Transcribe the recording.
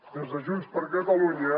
des de junts per catalunya